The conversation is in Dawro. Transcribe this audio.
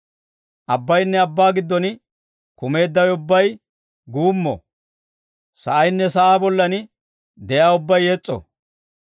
Abbayinne abbaa giddon kumeeddawe ubbay guummo. Sa'aynne sa'aa bollan de'iyaa ubbay yes's'o.